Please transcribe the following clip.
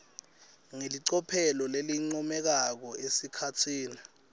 ngelicophelo lelincomekako esikhatsini